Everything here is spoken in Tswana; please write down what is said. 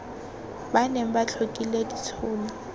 ba neng ba tlhokile ditshono